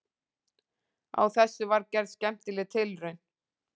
Á þessu var gerð skemmtileg tilraun.